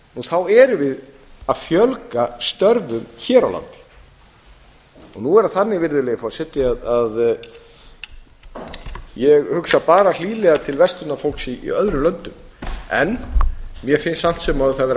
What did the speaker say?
þá erum við að fjölga störfum hér á landi virðulegi forseti nú er það þannig að ég hugsa bara hlýlega til verslunarfólks í öðrum löndum en mér finnst samt sem áður það vera